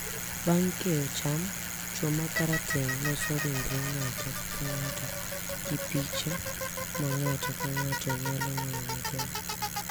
Bang’ keyo cham, chwo mag Karateng` loso ringre ng’ato ka ng’ato gi piche ma ng’ato ka ng’ato nyalo ng’eyo maber,